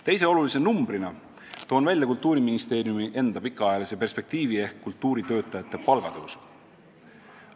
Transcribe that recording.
Teise olulise numbrina toon välja Kultuuriministeeriumi enda pikaajalise perspektiivi ehk kultuuritöötajate palkade tõstmise.